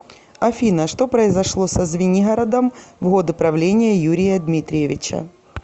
афина что произошло со звенигородом в годы правления юрия дмитриевича